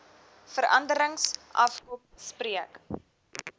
veranderings afkom spreek